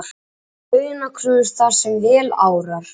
Hærri launakröfur þar sem vel árar